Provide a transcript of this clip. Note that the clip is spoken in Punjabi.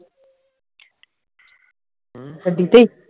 ਗੱਡੀ ਤੇ